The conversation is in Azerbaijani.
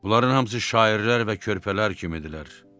Bunların hamısı şairlər və körpələr kimidirlər.